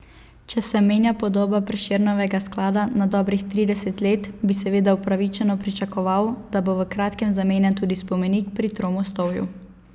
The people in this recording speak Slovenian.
Če se menja podoba Prešernovega sklada na dobrih trideset let, bi seveda upravičeno pričakoval, da bo v kratkem zamenjan tudi spomenik pri Tromostovju.